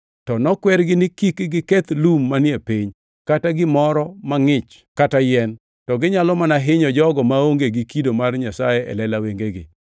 To nokwergi ni kik giketh lum manie piny kata gimoro mangʼich kata yien, to ginyalo mana hinyo jogo maonge gi kido mar Nyasaye e lela wengegi.